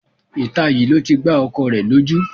Ìta yìí ló ti gbá ọkọ rẹ lójú